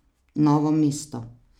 Novo mesto.